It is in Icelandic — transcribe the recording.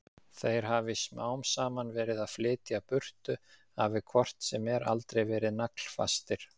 Þeir hafi smám saman verið að flytja burtu, hafi hvort sem er aldrei verið naglfastir.